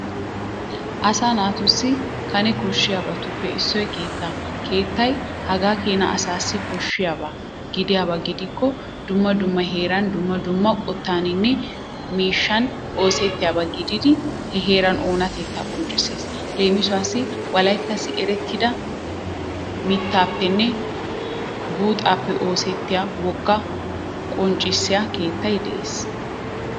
Asaa natussi kanee koshshiyabattuppe issoy keettaa. Kettay hagakena asassi koshshiyaba gidiyabagidikkone dumma dumma heeran dumma dumma qottaninne mishshan oosettiyaba gididi he heera oonatteta qonccessis. Lemisuwassi wolayttassi erettid mittappene buuxappe oosettiya wogaa qonccisiya keettay de'es.